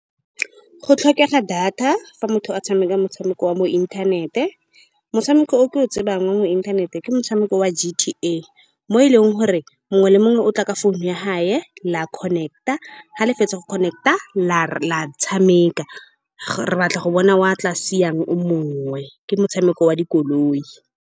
Go tlhokega data fa motho a tshameka motshameko wa mo inthanete. Motshameko o ke o tsebang mo inthaneteng ke motshameko wa G_T_A, mo e leng gore mongwe le mongwe o tla ka phone ya gagwe la connect-a. Fa le fetsa go connect-a, la re la tshameka, re batla go bona wa tla siyang o mongwe. Ke motshameko wa dikoloi.